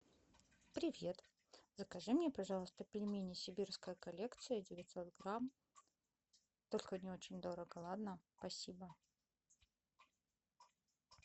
привет закажи мне пожалуйста пельмени сибирская коллекция девятьсот грамм только не очень дорого ладно спасибо